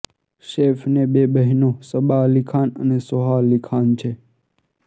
સૈફ ને બે બહેનો સબા અલી ખાન અને સોહા અલી ખાન છે